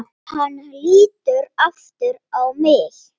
Hann lítur aftur á mig.